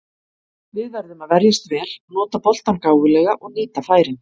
Við verðum að verjast vel, nota boltann gáfulega og nýta færin.